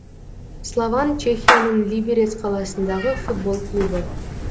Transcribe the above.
слован чехияның либерец қаласындағы футбол клубы